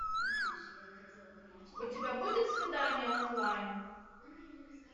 у тебя будет свидание онлайн